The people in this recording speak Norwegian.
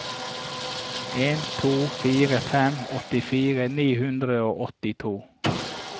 en to fire fem åttifire ni hundre og åttito